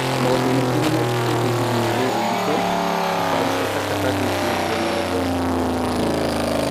Maũndũ maingĩ nĩ mekĩkĩte ihinda-inĩ rĩrĩ iritũ. Thabarĩ cia Tangatanga itirĩ kuo na reggae o nayo nĩ ĩrugamĩte